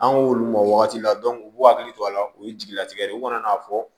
An k'olu ma o wagati la u b'u hakili to a la u ye jigilatigɛ ye u kana n'a fɔ